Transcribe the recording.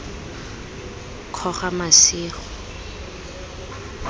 kgogamasigo